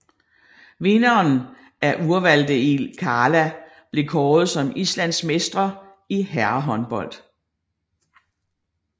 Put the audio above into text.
Vinderen af Úrvalsdeild karla bliver kåret som islandsmestre i herrehåndbold